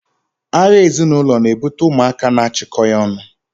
agha ezinaulo na-ebute ụmụaka na-achịkọghị ọnụ.